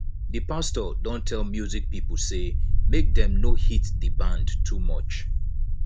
di pastor don tell music pipo sey make dem no hit di band too much